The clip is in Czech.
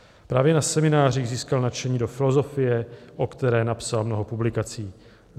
Právě na seminářích získal nadšení do filozofie, o které napsal mnoho publikací.